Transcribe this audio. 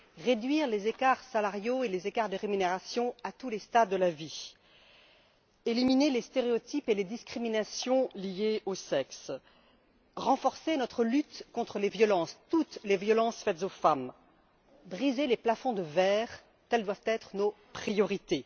Réduire les écarts salariaux et les écarts de rémunération à tous les stades de la vie, éliminer les stéréotypes et les discriminations liées au sexe, renforcer notre lutte contre les violences toutes les violences faites aux femmes, briser les plafonds de verre, telles doivent être nos priorités.